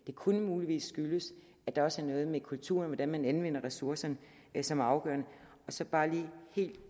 det kunne muligvis skyldes at der også er noget med kulturen med hvordan man anvender ressourcerne som er afgørende og så bare lige helt